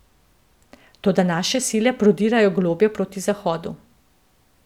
Toda naše sile prodirajo globlje proti zahodu.